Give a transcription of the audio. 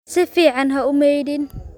Si fiican ha u maydhin